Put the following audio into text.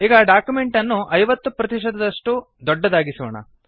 ಈಗ ಡಾಕ್ಯುಮೆಂಟ್ ಅನ್ನು 50 ಪ್ರತಿಶತದಷ್ಟು ದೊಡ್ಡದಾಗಿಸೋಣ